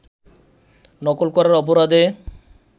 নকল করার অপরাধে